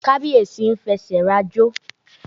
Kábíẹ̀sí ń fẹsẹ̀ rajó.